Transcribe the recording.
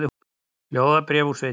Ljóðabréf úr sveitinni